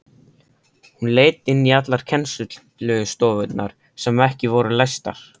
Hún leit inn í allar kennslustofurnar sem ekki voru læstar.